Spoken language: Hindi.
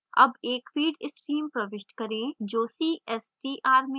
अब एक feed stream प्रविष्ट करें जो cstr में प्रवेश करता है